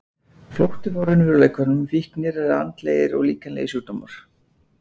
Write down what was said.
Flótti frá raunveruleikanum, fíknir eða andlegir og líkamlegir sjúkdómar.